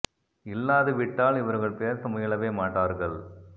இல்லாது விட்டால் இவர்கள் பேச முயலவே மாட்டார்கள்